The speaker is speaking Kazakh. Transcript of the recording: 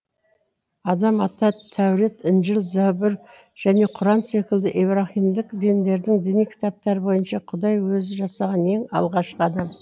адам ата тәурат інжіл забур және құран секілді ибраһимдік діндердің діни кітаптары бойынша құдай өзі жасаған ең алғашқы адам